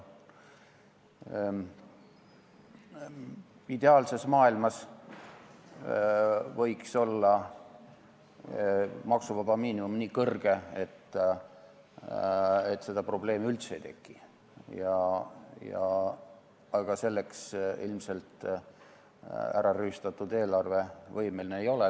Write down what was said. Ideaalses maailmas võiks olla maksuvaba miinimum nii kõrge, et seda probleemi üldse ei teki, aga selleks ilmselt ärarüüstatud eelarve võimeline ei ole.